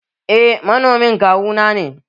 Eh manomin kawu nane.